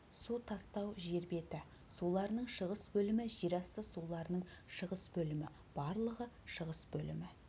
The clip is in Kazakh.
су тастау жер беті суларының шығыс бөлімі жер асты суларының шығыс бөлімі барлығы шығыс бөлімі